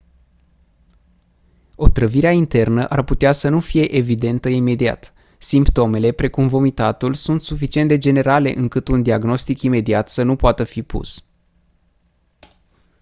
otrăvirea internă ar putea să nu fie evidentă imediat simptomele precum vomitatul sunt suficient de generale încât un diagnostic imediat să nu poată fi pus